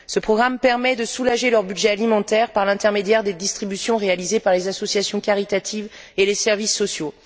Ce programme permet de soulager leur budget alimentaire par l'intermédiaire des distributions réalisées par les associations caritatives et les services sociaux.